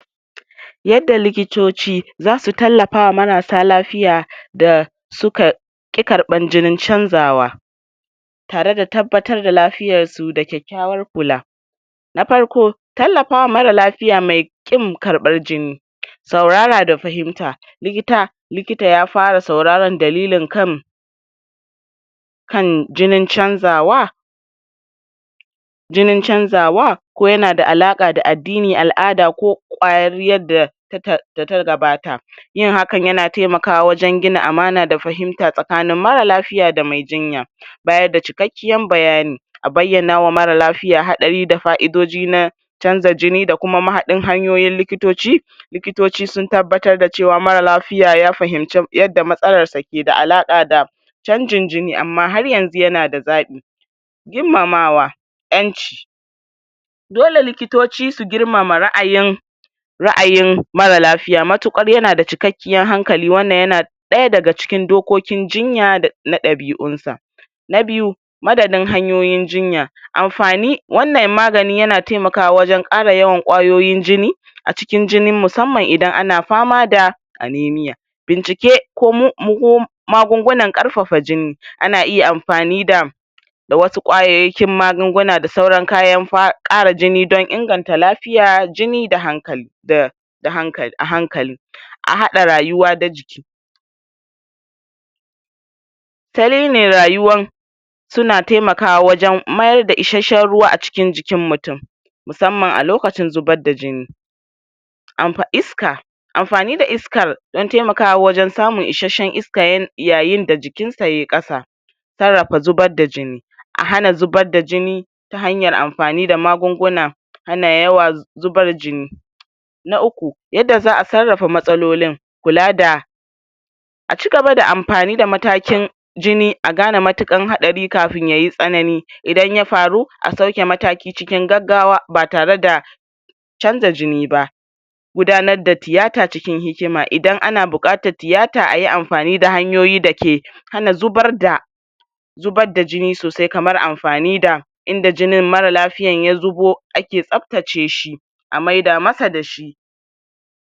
yadda likitoci zasu tallafa wa marasa lafiya da suka ki karɓan jinin cazawa tare da tabbatar da lafiyar su da kyakyawan kula na farko tallafawa mara lafiya mai kin karɓar jini saurara da fahimta lilita likita ya fara surara dalilin kan kan jijin canzawa jinin canzawa ko yanada alaka da addini, al'ada ko kwarariyan da ta data gabata yin haka yana taimakawa wajan gina amana da fahimta tsakanin mara lafiya da mai jinya bayar da cikakiyan bayani a bayyana wa mara lafiya hatsari da fa'idoji na canja jini da kuma mahadin hanyoyin likitoci likito sun tabbatar da cewa mara lafiya ya fahimce yadda matsalar sa ke da halaka da canjin jini amma haryanzu yana da zaɓi girmamawa ƴanci dole likitoci su girmama ra'ayin ra'ayin mara lafiya mutukar yanada cikakiyar hankali wannan yana ɗaya daga cikin dokoki jinya dana ɗabi'un sa na biyu maganin hanyoyin jinya amfani wannan maganin yana taimakawa wajan ƙara yawan kwayoyin jini a cikin jini musamman idan ana fama da animiya binciki ko magungunan ƙarfafa jini ana iya amfani da da wasu kwayoyiƙin magunguna da sauran kayan ƙara jini da inganta lafiya, jini da hankali da da hankali a haɗa rayuwa da jiki fari mai rayuwan suna taimakawa wajan mayar da isheshen ruwa a cikin jikin mutum musamman a lokacin zubar da jini amfa iska amfani da iskar da taimakawa wajan samun isheshen iska yayin da jikinsa yayi ƙasa sarrafa zubar da jini a hana zubar da jini ta hanyar amfani da magunguna hana yawar zubar jini na uku yanda za'a sarrafa matsalolin kula da a cigaba da amfani da matakin jini a gane mutukar hatsari kafin yayi tsanani idan ya faru a sauke mataki cikin gagawa ba tare da canja jini ba gudanar da tiyata cikin hikima, idan ana buƙatar tiyata ayi amfani da hanyoyi da yake hana zubar da zubar da jini sosai, kamar amfani da inda jinin mara lafiyan ya zubo ake tsaftace shi a maida masa da shi.